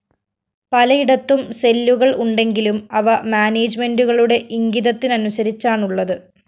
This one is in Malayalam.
പലയിടത്തും സെല്ലുകള്‍ ഉണ്ടെങ്കിലും അവ മാനേജ്‌മെന്റുകളുടെ ഇംഗിതത്തിനനുസരിച്ചാണുള്ളത്